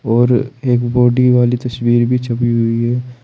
और एक बॉडी वाली तस्वीर भी छपी हुई है।